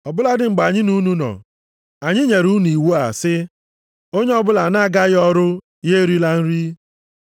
Ọ bụladị mgbe anyị na unu nọ, anyị nyere unu iwu a sị, “Onye ọbụla na-agaghị ọrụ ya erila nri.”